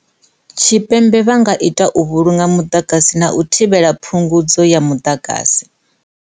Tshipembe vha nga ita u vhulunga muḓagasi na u thivhela phungudzo ya muḓagasi.